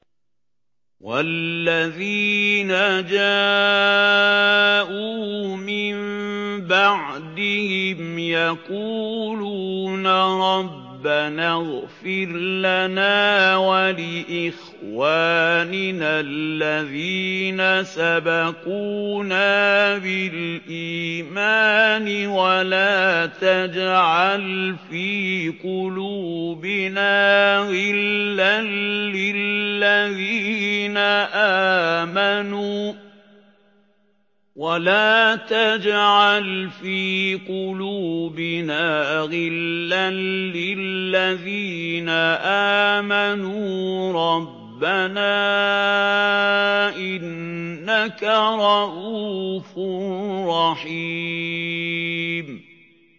وَالَّذِينَ جَاءُوا مِن بَعْدِهِمْ يَقُولُونَ رَبَّنَا اغْفِرْ لَنَا وَلِإِخْوَانِنَا الَّذِينَ سَبَقُونَا بِالْإِيمَانِ وَلَا تَجْعَلْ فِي قُلُوبِنَا غِلًّا لِّلَّذِينَ آمَنُوا رَبَّنَا إِنَّكَ رَءُوفٌ رَّحِيمٌ